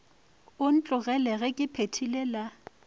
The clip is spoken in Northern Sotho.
ntlogele ge ke phethile la